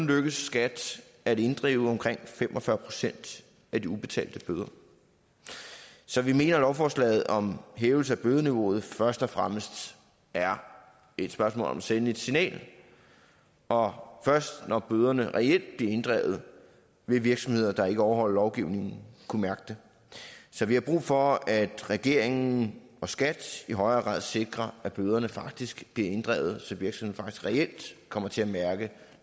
lykkedes skat at inddrive omkring fem og fyrre procent af de ubetalte bøder så vi mener at lovforslaget om hævelse af bødeniveauet først og fremmest er et spørgsmål om at sende et signal og først når bøderne reelt bliver inddrevet vil virksomheder der ikke overholder lovgivningen kunne mærke det så vi har brug for at regeringen og skat i højere grad sikrer at bøderne faktisk bliver inddrevet så virksomhederne reelt kommer til at mærke